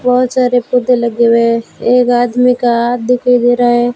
बहोत सारे पौधे लगे हुए हैं एक आदमी का हाथ दिखाई दे रहा है।